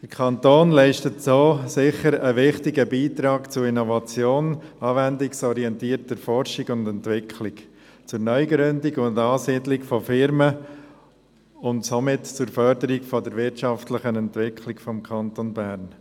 Der Kanton leistet so sicher einen wichtigen Beitrag für Innovation, anwendungsorientierte Forschung und Entwicklung, Neugründung und Ansiedlung von Unternehmen und somit zur Förderung der wirtschaftlichen Entwicklung des Kantons Bern.